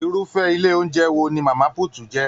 Irufẹ ilé oúnjẹ ní mama put jẹ.